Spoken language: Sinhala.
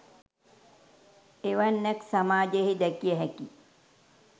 එවැන්නක් සමාජයෙහි දැකිය හැකි